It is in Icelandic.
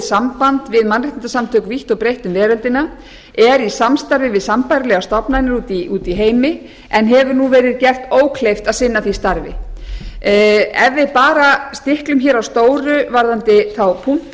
samband við mannréttindasamtök vítt og breitt um veröldina er í samstarfi við sambærilegar stofnanir úti í heimi en hefur nú verið gert ókleift að sinna því starfi ef við bara stiklum hér á stóru varðandi þá punkta